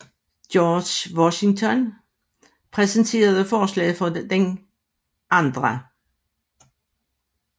George Washington præsenterede forslaget for den 2